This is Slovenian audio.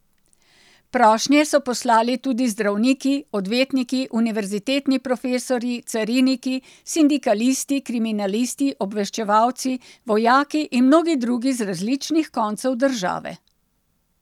Prošnje so poslali tudi zdravniki, odvetniki, univerzitetni profesorji, cariniki, sindikalisti, kriminalisti, obveščevalci, vojaki in mnogi drugi z različnih koncev države.